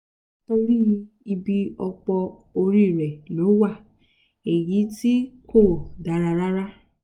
torí ibi ọpọ́ orí rẹ̀ ló wà èyí ti kò dára rárá